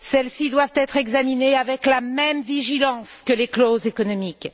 Celles ci doivent être examinées avec la même vigilance que les clauses économiques.